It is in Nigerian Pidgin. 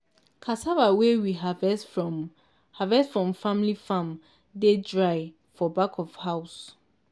cassava wey we harvest from harvest from family farm dey dry for back of house.